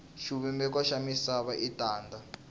xivumbeko xa misava i tanda